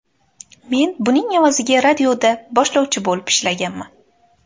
Men buning evaziga radioda boshlovchi bo‘lib ishlaganman.